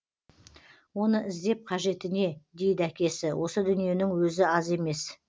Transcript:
оны іздеп қажеті не дейді әкесі осы дүниенің өзі аз емес